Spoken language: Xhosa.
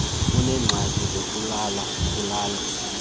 uneengxaki zokulala ulala